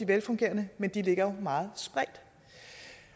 velfungerende men de ligger jo meget spredt